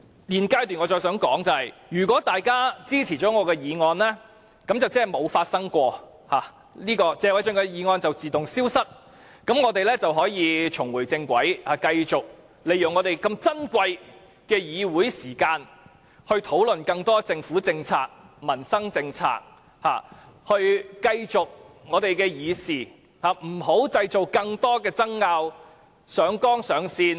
現階段我想說的是，如果大家支持我的議案，便等於甚麼事都沒發生過，謝偉俊議員的議案會自動消失，我們也能重回正軌，繼續利用珍貴的議會時間討論更多政府政策、民生政策，繼續議事，不再製造更多爭拗，上綱上線。